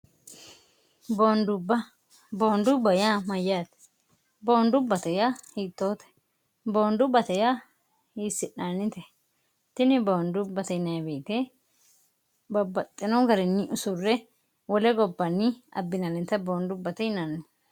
dboondubba ya mayyaate boondu bate ya hiittoote boondubbateya hiissi'naannite tini boondu bate ineewite babbaxxino gariinni usurre wole gobbanni abbinaannite boondubbate hinanni